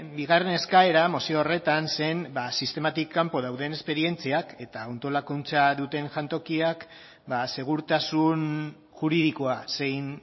bigarren eskaera mozio horretan zen sistematik kanpo dauden esperientziak eta antolakuntza duten jantokiak segurtasun juridikoa zein